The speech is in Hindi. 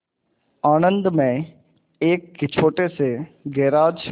आणंद में एक छोटे से गैराज